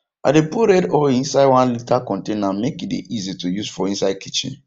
i dey put red red oil inside one liter container make e dey easy to use for inside kitchen